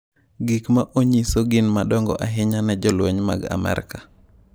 Gik ma onyiso gin madongo ahinya ne jolweny mag Amerka.